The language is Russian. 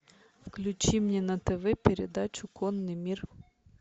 включи мне на тв передачу конный мир